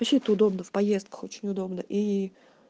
вообще это удобно в поездках очень удобно и